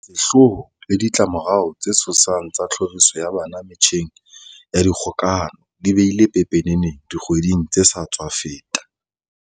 Sehloho le ditla-morao tse tshosang tsa tlhoriso ya bana metjheng ya kgokahano di bile pepeneneng dikgweding tse sa tswa feta.